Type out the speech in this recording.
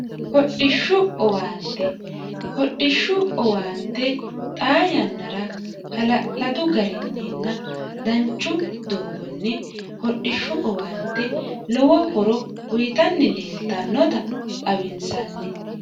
Hodhishu owaanitte hodhishu owaante xaa yannara hala'ladu garinninna danchu doogonni hodhishshu owaante lowo horo uyitanni leeltannota xawinsanni